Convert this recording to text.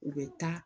U bɛ taa